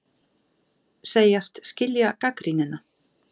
Segjast skilja gagnrýnina